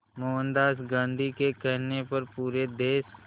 मोहनदास गांधी के कहने पर पूरे देश